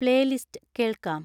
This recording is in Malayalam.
പ്ലേലിസ്റ്റ് കേൾക്കാം